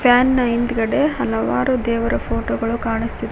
fan ನ ಹಿಂದ್ಗಡೆ ಹಲವಾರು ದೇವರು ಫೋಟೋ ಗಳು ಕಾಣಿಸು--